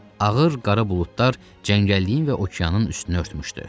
Ağır qara buludlar cəngəlliyin və okeanın üstünü örtmüşdü.